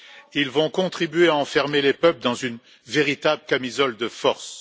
Ils vont contribuer à enfermer les peuples dans une véritable camisole de force.